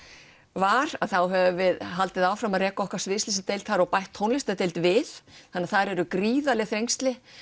var þá höfum við haldið áfram að reka okkar sviðsljósadeild og bætt tónlistardeild við þannig að það eru gríðarleg þrengsli